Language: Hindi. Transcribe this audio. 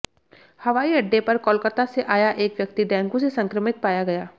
हवाईअड्डे पर कोलकाता से आया एक व्यक्ति डेंगू से संक्रमित पाया गया